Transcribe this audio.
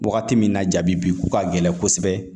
Wagati min na ja bi ko ka gɛlɛn kosɛbɛ